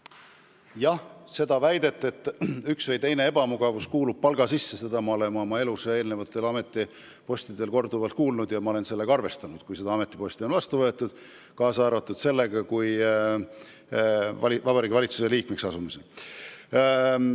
Jah, seda väidet, et üks või teine ebamugavus kuulub palga sisse, olen ma oma elus eelmistel ametipostidel korduvalt kuulnud ja ma arvestasin sellega, kui ametiposti vastu võtsin, kaasa arvatud siis, kui Vabariigi Valitsuse liikmeks asusin.